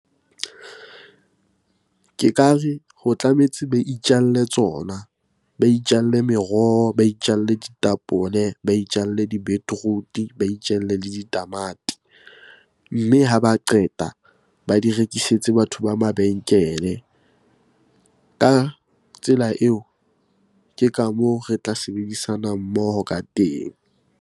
Ke ka re, ho tlametse ba itjalle tsona. Ba itjalle meroho, ba itjalle ditapole, ba itjalle di-beetroot-e, ba itjalle le ditamati. Mme ha ba qeta ba di rekisetse batho ba mabenkele. Ka tsela eo, ke ka moo re tla sebedisanang mmoho ka teng.